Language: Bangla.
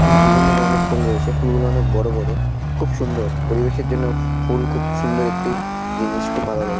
এখানে বিভিন্ন ধরণের ফুল রয়েছে। ফুলগুলো অনেক বড়ো বড়ো। খুব সুন্দর পরিবেশের জন্য ফু-ফুল খুব সুন্দর একটি জিনিস। খুব ভালো লাগলো।